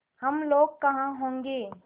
हम लोग कहाँ होंगे